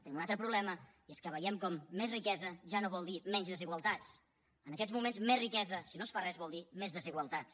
tenim un altre problema i és que veiem que més riquesa ja no vol dir menys desigualtats en aquests moments més riquesa si no es fa res vol dir més desigualtats